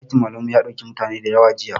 Ɗakin malaman mu ya ɗauki mutane dayawa jiya